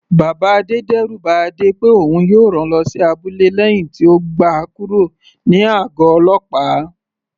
Bàbá Adé d'ẹru ba Adé pé òun yóò rán lọ sí abúlé lẹ́hìn tí ó gba kúrò ní àgọ̀ ọlọ́pàá.